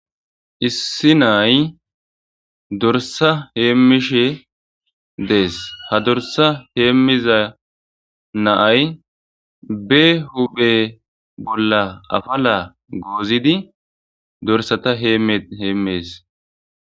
issi naay dorsa heemmishe dees ha dorsa heemmiza naay be huphe bolla afala goozidi dorsata heemme heemmees